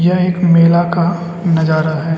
यह एक मेला का नजारा है।